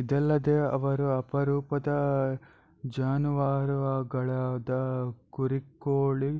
ಇದಲ್ಲದೆ ಅವರು ಅಪರೂಪದ ಜಾನುವಾರುಗಳಾದ ಕುರಿಕೋಳಿ